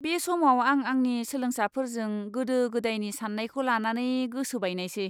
बे समाव, आं आंनि सोलोंसाफोरजों गोदो गोदायनि साननायखौ लानानै गोसो बायनायसै।